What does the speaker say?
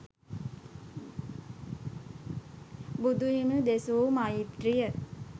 බුදුහිමි දෙසු මෛත්‍රිය